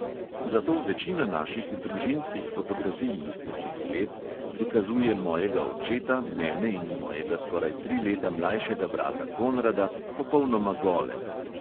Zato večina naših družinskih fotografij iz tistih let prikazuje mojega očeta, mene in mojega skoraj tri leta mlajšega brata konrada popolnoma gole.